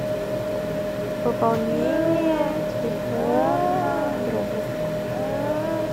пополнение телефона другу